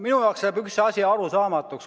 Minu jaoks jääb üks asi arusaamatuks.